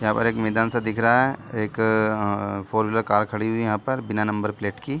यहाँ पर एक मैदान सा दिख रहा है एक अअअ फोर व्हीलर कार खड़ी हुई है यहाँ पर बिना नंबर प्लेट की --